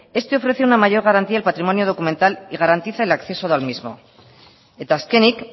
este ofrece una mayor garantía al patrimonio documental y garantiza el acceso del mismo eta azkenik